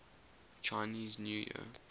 chinese new year